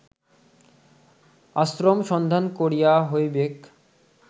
আশ্রম সন্ধান করিয়া হইবেক